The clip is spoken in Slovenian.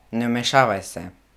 Ne vmešavaj se.